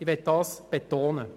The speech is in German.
Das möchte ich betonen.